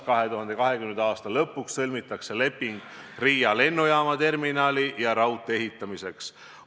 2020. aasta lõpuks sõlmitakse leping Riia lennujaama terminali ja raudtee ehitamiseks.